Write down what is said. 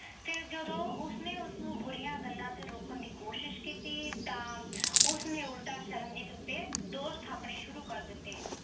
ਫਿਰ ਜਦੋਂ ਉਸ ਨੇ ਉਸ ਨੂੰ ਬੁਰੀਆਂ ਗੱਲਾਂ ਤੇ ਰੋਕਣ ਦੀ ਕੋਸ਼ਿਸ਼ ਕੀਤੀ ਤਾਂ ਉਸਨੇ ਉਲਟਾ ਸ਼ਰਨਜੀਤ ਉਤੇ ਦੋਸ਼ ਠਾਪਣੇ ਸ਼ੁਰੂ ਕਰ ਦਿੱਤੇ।